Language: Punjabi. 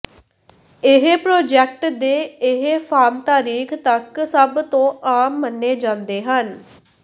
ਇਹ ਪਰੋਜੈਕਟ ਦੇ ਇਹ ਫਾਰਮ ਤਾਰੀਖ ਤੱਕ ਸਭ ਤੋਂ ਆਮ ਮੰਨੇ ਜਾਂਦੇ ਹਨ